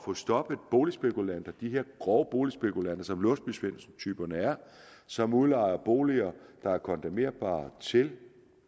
få stoppet boligspekulanter de her grove boligspekulanter som låsby svendsen typerne er som udlejer boliger der er kondemnerbare til